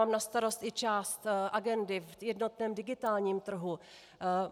Mám na starost i část agendy v jednotném digitálním trhu.